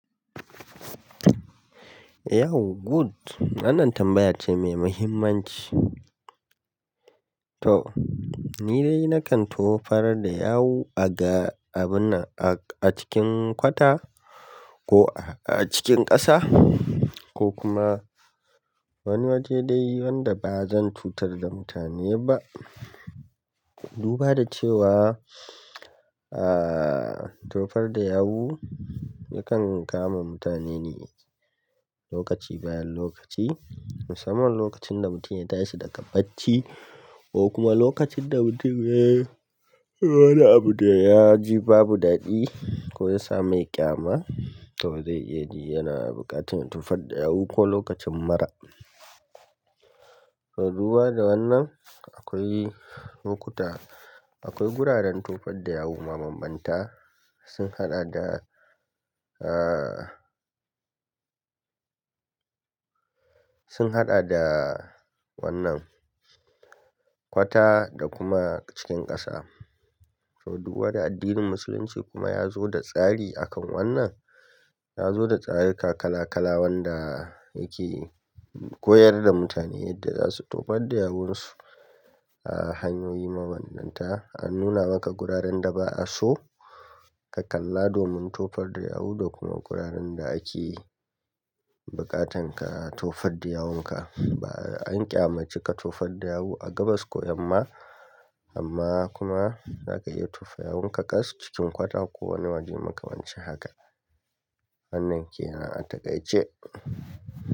Yau good. Wannan tambaya ce mai muhimmanci. To ni dai na kan tofar da yawu a ga abun a cikin kwata ko a cikin ƙasa ko kuma wani waje dai wanda ba zan cutar da mutane ba. Duba da cewa aa tofar da yawu yakan kama mutane ne lokaci bayan lokaci musamman lokacin da mutum ya tashi daga bacci ko kuma lokacin da mutum yana abu da ya ji babu daɗi ko ya sa mai ƙyama to zai iya yana buƙatar tufar da yawu ko lokacin mura. To duba da wannan akwai lokuta akwai guraren tofar da yawu mabanbanta sun haɗa da aa sun haɗa da wannan kwata da kuma cikin ƙasa. To duba da addinin musulunci kuma ya zo da tsari akan wannan ya zo da tsari kala kala wanda yake koyar da mutane yadda za su tofar da yawunsu a hanyoyi mabanbanta. An nuna maka guraren da ba'a so ka kalla domin tofar da yawu da kuma guraren da ake buƙatan ka tofar da yawunka. Ba an ƙyamaci ka tofar da yawu a gabas ko yamma amma kuma zaka iya tofa yawunka ƙas cikin kwata ko wani waje makamancin haka. Wannan ke nan a takaice.